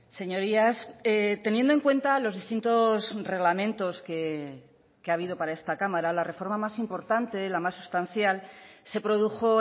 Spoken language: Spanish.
señorías teniendo en cuenta los distintos reglamentos que ha habido para esta cámara la reforma más importante la más sustancial se produjo